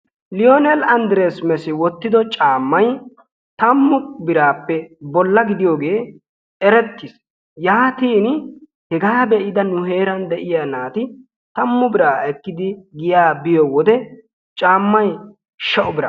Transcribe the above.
Lioness Andires Mesi wottiddo caammay tammu biraappe bolla gidiyogee erettiis. Yaatin hegaa be'ida nu heeran de'iya naati tammu biraa ekkidi giyaa biyo wode caammay sha"u bira.